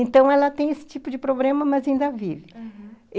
Então, ela tem esse tipo de problema, mas ainda vive, aham.